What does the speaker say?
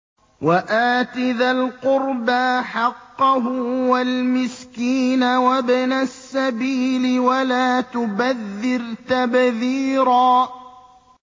وَآتِ ذَا الْقُرْبَىٰ حَقَّهُ وَالْمِسْكِينَ وَابْنَ السَّبِيلِ وَلَا تُبَذِّرْ تَبْذِيرًا